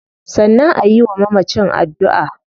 Sannan ayi wa mamacin addua